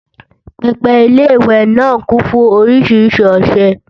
pẹpẹ Ilé-ìwẹ̀ náà kún fún oríṣiríṣi ọṣẹ